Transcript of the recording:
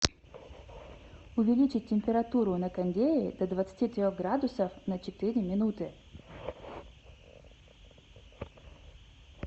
увеличить температуру на кондее до двадцати трех градусов на четыре минуты